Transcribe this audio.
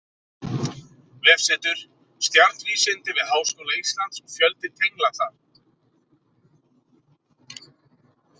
Vefsetur: Stjarnvísindi við Háskóla Íslands og fjöldi tengla þar.